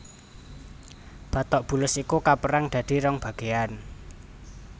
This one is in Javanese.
Batok bulus iku kapérang dadi rong bagéan